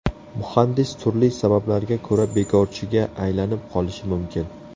Muhandis turli sabablarga ko‘ra bekorchiga aylanib qolishi mumkin.